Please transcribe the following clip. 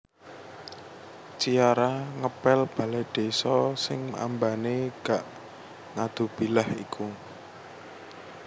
Ciara ngepel balai desa sing ambane gak ngadubilah iku